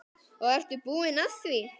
Og ertu búin að því?